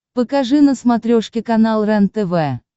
покажи на смотрешке канал рентв